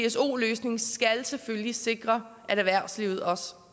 pso løsning skal selvfølgelig sikre at erhvervslivet også